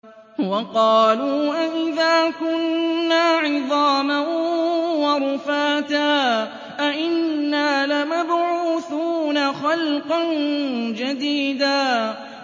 وَقَالُوا أَإِذَا كُنَّا عِظَامًا وَرُفَاتًا أَإِنَّا لَمَبْعُوثُونَ خَلْقًا جَدِيدًا